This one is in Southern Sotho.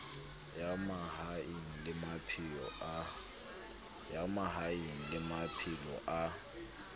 ya mahaeng le maphelo a